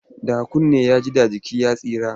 Da kunne ya ji, da jiki ya tsira.